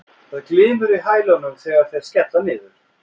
Það glymur í hælunum þegar þeir skella niður.